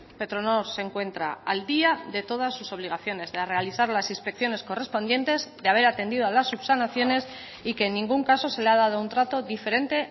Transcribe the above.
petronor se encuentra al día de todas sus obligaciones de realizar las inspecciones correspondientes de haber atendido a las subsanaciones y que en ningún caso se le ha dado un trato diferente